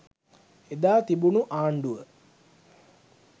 ඒදා තිබුණු ආණ්ඩුව